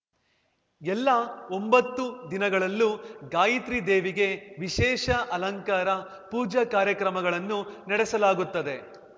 ಎಲ್ಲಾ ಒಂಭತ್ತು ದಿನಗಳಲ್ಲೂ ಗಾಯತ್ರಿ ದೇವಿಗೆ ವಿಶೇಷ ಅಲಂಕಾರ ಪೂಜಾ ಕಾರ್ಯಕ್ರಮಗಳನ್ನು ನಡೆಸಲಾಗುತ್ತದೆ